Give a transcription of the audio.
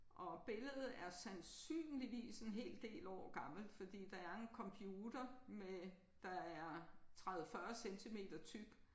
Og billedet er sandsynligvis en hel del år gammelt fordi der er en computer med der er 30 40 centimeter tyk